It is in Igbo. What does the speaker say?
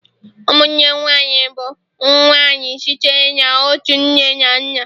ụmụnne nwanyị bụ nwa nwanyị sitere na otu nne na nna